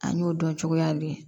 An y'o dɔn cogoya di